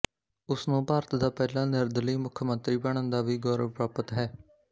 ਉਸ ਨੂੰ ਭਾਰਤ ਦਾ ਪਹਿਲਾ ਨਿਰਦਲੀ ਮੁੱਖਮੰਤਰੀ ਬਨਣ ਦਾ ਵੀ ਗੌਰਵ ਪ੍ਰਾਪਤ ਹੈ